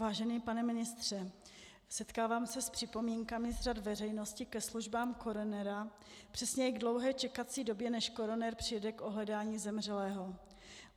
Vážený pane ministře, setkávám se s připomínkami z řad veřejnosti ke službám koronera, přesně k dlouhé čekací době, než koroner dojede k ohledání zemřelého.